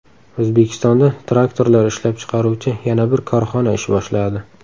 O‘zbekistonda traktorlar ishlab chiqaruvchi yana bir korxona ish boshladi.